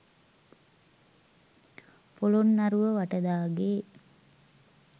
Polonnaruwa Vatadage,